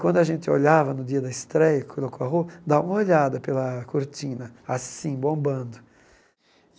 Quando a gente olhava no dia da estreia, colocou a roupa, dá uma olhada pela cortina, assim, bombando.